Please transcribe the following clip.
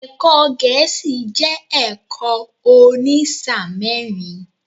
Ẹ̀kọ́ Gẹ̀ẹ́sì jẹ́ ẹ̀kọ́ òní sáà mẹ́rin.